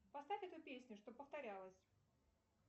поставь эту песню чтобы повторялась